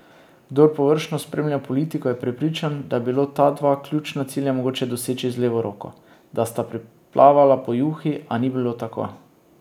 Kdor površno spremlja politiko, je prepričan, da je bilo ta dva ključna cilja mogoče doseči z levo roko, da sta priplavala po juhi, a ni bilo tako.